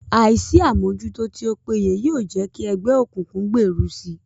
Àìsí àmójútó tí ó péye yóò jẹ́ kí ẹgbẹ́ òkùnkùn gbèrú si